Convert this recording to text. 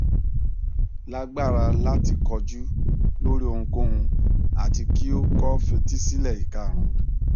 lagbara lati koju lori ohunkohun ati ki o ko fetísílẹ ikarun